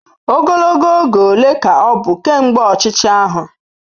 Ogologo oge ole ka ọ bụ kemgbe ọchịchị ahụ?